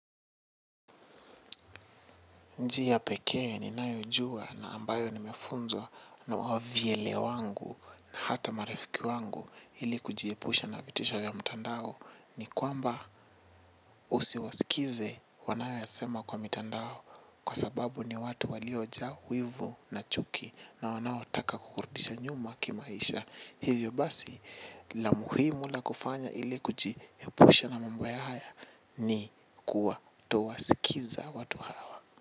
Njia pekee ni nayojua na ambayo nimefunzwa na wavyele wangu na hata marifiki wangu ili kujiepusha na vitisho vya mtandao ni kwamba usiwasikize wanayoyasema kwa mtandao kwa sababu ni watu waliojaa wivu na chuki na wanaotaka kukurudisha nyuma kimaisha. Hivyo basi la muhimu la kufanya ili kujiepusha na mambo haya ni kuwa towasikiza watu hawa.